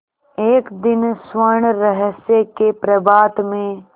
एक दिन स्वर्णरहस्य के प्रभात में